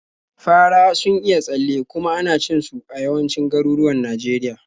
Fara sun iya tsalle, kuma ana cin su a yawancin garuruwan Najeriya.